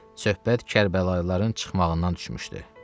Söhbət Kərbəlayıların çıxmağından düşmüşdü.